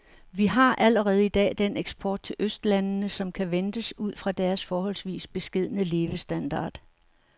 Vi har allerede i dag den eksport til østlandene, som kan ventes ud fra deres forholdsvis beskedne levestandard.